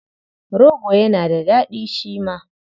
Rogo yana da daɗi shi ma.